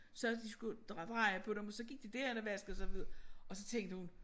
Sagde de skulle dreje på dem og så gik de derhen og vaskede sig og så tænkte hun